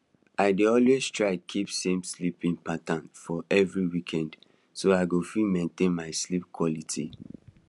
i dey always try keep same sleeping pattern even for weekends so i go fit maintain my sleep quality